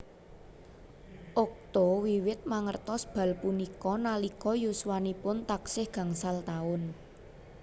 Okto wiwit mangertos bal punika nalika yuswanipun taksih gangsal taun